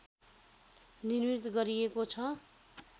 निर्मित गरिएको छ